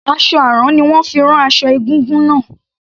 Aṣọ àrán ni wón fi rán aṣọ egúngún náà.